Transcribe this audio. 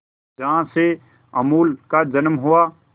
जहां से अमूल का जन्म हुआ